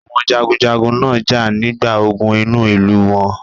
Àwọn jagunjagun náà jà nígbà ogun inú ìlú wọn.